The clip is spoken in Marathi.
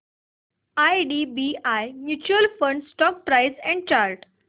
IDBI mutual fund stock price and chart